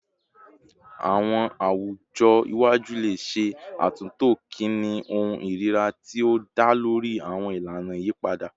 Awọn awujọ iwaju le ṣe atunto kini ohun irira ti o da lori awọn ilana iyipada